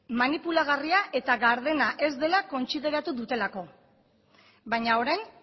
manipulagarria eta gardena ez dela kontsideratu dutelako baina orain